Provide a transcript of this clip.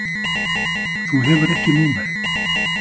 Þú hefur ekki númerið.